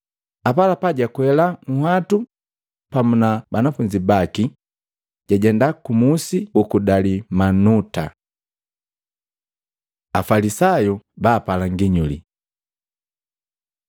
apalapa jakwela nhwatu pamu na banafunzi baki, jajenda kumusi juku Dalimanuta. Afalisayu bapala nginyuli Matei 16:1-4